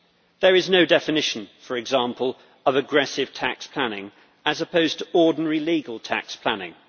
There is no definition, for example, of aggressive tax planning as opposed to ordinary legal tax planning